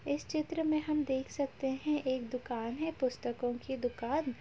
इस चित्र में हम देख सकते हैं एक दुकान है पुस्तकों की दुकान --